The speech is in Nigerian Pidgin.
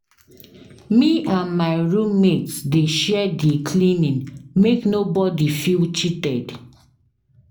Me and my room mate dey share di cleaning make nobodi feel cheated.